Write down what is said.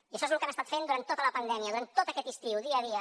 i això és el que hem estat fent durant tota la pandèmia durant tot aquest estiu dia a dia